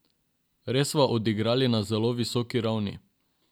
Res sva odigrali na zelo visoki ravni.